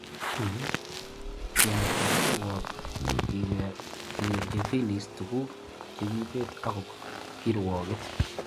King'at kapkirwok kigeranji Philis tugug che kiibet akobo kirwaget.